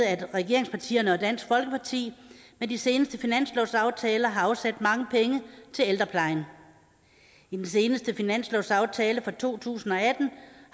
at regeringspartierne og dansk folkeparti med de seneste finanslovsaftaler har afsat mange penge til ældreplejen i den seneste finanslovsaftale for to tusind og atten